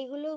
এইগুলো,